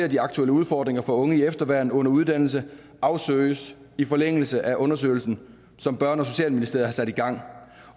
de aktuelle udfordringer for unge i efterværn under uddannelse afsøges i forlængelse af undersøgelsen som børne og socialministeriet har sat i gang